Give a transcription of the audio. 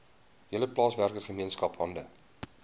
hele plaaswerkergemeenskap hande